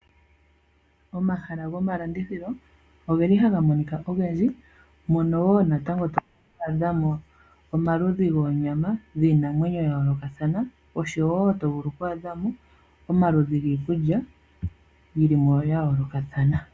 Omahala gomalanditjilo ogeli haga monika ogendji, mono wo to vulu oku adha mo omaludhi goonyama dhiinamwenyo ya yoolokathana, oshowo to vulu oku adha mo omaludhi giikulya yili mo ya yoolokathana.